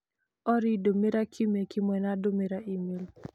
Olly ndũmĩra kiumia kĩmwe na ndũmĩra e-mail